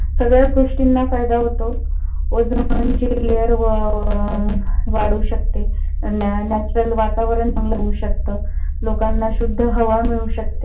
सगळ्याच गोष्टींना फायदा होतो. ओझोन ची lear वाढू शकते. natural वातावरण चांगल होवू शकत. लोकांना शुध्द हवा मिळू शकते.